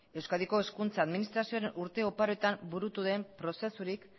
euskadiko hezkuntza administrazioan urte oparoetan burutu den prozesurik